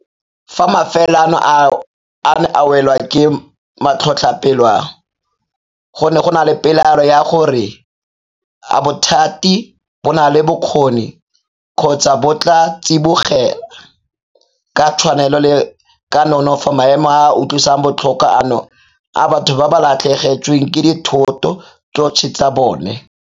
Fa mafelo ano a ne a welwa ke matlhotlhapelo a, go ne go na le pelaelo ya gore a bothati bo na le bokgoni kgotsa bo tla tsibogela ka tshwanelo le ka nonofo maemo a a utlwisang botlhoko ano a batho ba ba latlhegetsweng ke dithoto tsotlhe tsa bona.